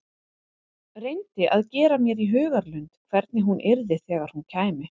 Reyndi að gera mér í hugarlund hvernig hún yrði þegar hún kæmi.